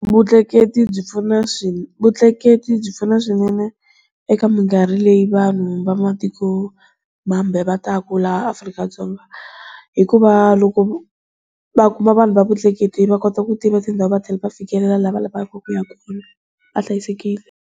Vutleketli byi pfuna vutleketli byi pfuna swinene eka minkarhi leyi vanhu va matiko mambe va taka laha Afrika-Dzonga hikuva loko va kuma vanhu va vutleketli va kota ku tiva tindhawu va thlela va fikelela laha va lavaka ku ya kona va hlayisekile.